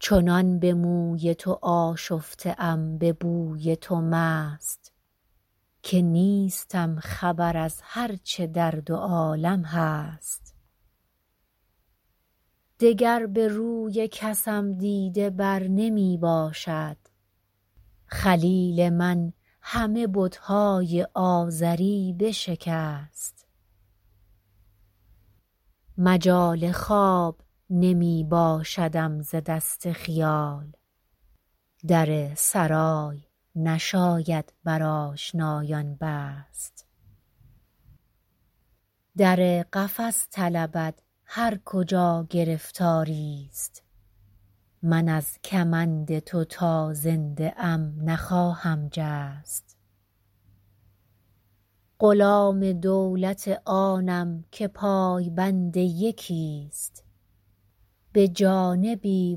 چنان به موی تو آشفته ام به بوی تو مست که نیستم خبر از هر چه در دو عالم هست دگر به روی کسم دیده بر نمی باشد خلیل من همه بت های آزری بشکست مجال خواب نمی باشدم ز دست خیال در سرای نشاید بر آشنایان بست در قفس طلبد هر کجا گرفتاری ست من از کمند تو تا زنده ام نخواهم جست غلام دولت آنم که پای بند یکی ست به جانبی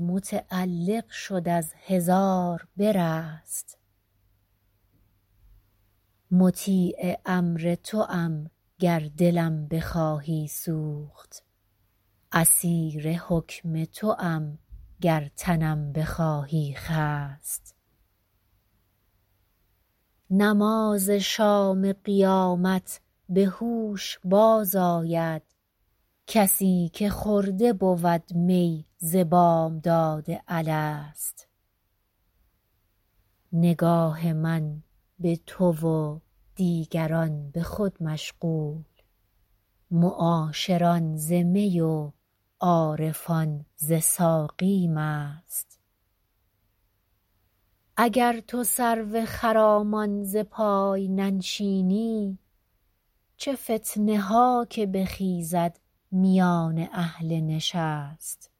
متعلق شد از هزار برست مطیع امر توام گر دلم بخواهی سوخت اسیر حکم توام گر تنم بخواهی خست نماز شام قیامت به هوش باز آید کسی که خورده بود می ز بامداد الست نگاه من به تو و دیگران به خود مشغول معاشران ز می و عارفان ز ساقی مست اگر تو سرو خرامان ز پای ننشینی چه فتنه ها که بخیزد میان اهل نشست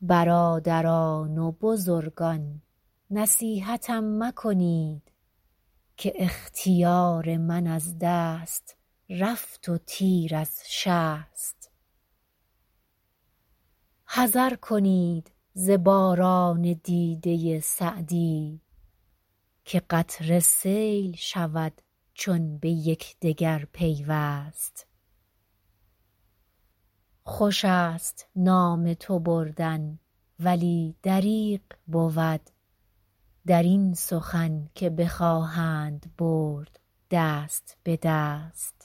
برادران و بزرگان نصیحتم مکنید که اختیار من از دست رفت و تیر از شست حذر کنید ز باران دیده سعدی که قطره سیل شود چون به یکدگر پیوست خوش است نام تو بردن ولی دریغ بود در این سخن که بخواهند برد دست به دست